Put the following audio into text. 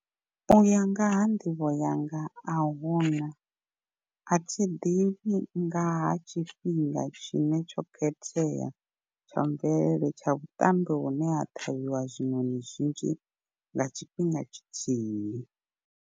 U ya nga ha nḓivho yanga ahuna, athi ḓivhi ngaha tshifhinga tshine tsho khethea tsha mvelele tsha vhuṱambo vhune ha ṱhavhiwa zwiṋoni zwinzhi nga tshifhinga tshithihi.